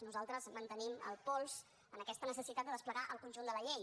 nosaltres mantenim el pols en aquesta necessitat de desplegar el conjunt de la llei